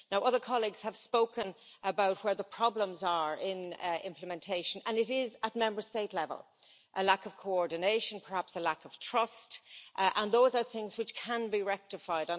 Other colleagues have spoken about where the problems are in implementation, and they are at Member State level a lack of coordination, perhaps a lack of trust and they are things which can be rectified.